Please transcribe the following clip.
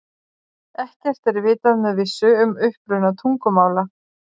Ekkert er vitað með vissu um uppruna tungumála.